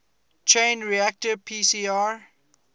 chain reaction pcr